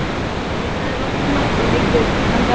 Nei sagði Valdimar og leit yfir hvítan garðinn.